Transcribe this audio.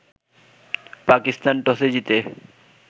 পাকিস্তান টসে জিতে